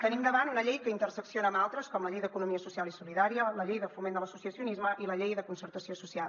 tenim davant una llei que intersecciona amb altres com la llei d’economia social i solidària la llei de foment de l’associacionisme i la llei de concertació social